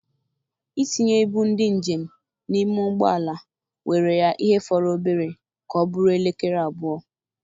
Itinye ibu ndị njem n'ime ụgbọala were ya ihe fọrọ obere ka ọ bụrụ elekere abụọ.